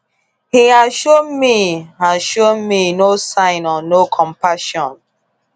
He has shown me has shown me no sign or no compassion.